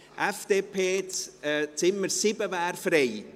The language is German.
Für die FDP wäre das Zimmer 7 frei;